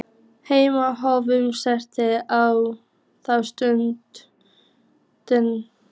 Hemmi horfir rannsakandi á þá stutta stund.